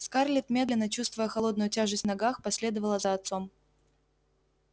скарлетт медленно чувствуя холодную тяжесть в ногах последовала за отцом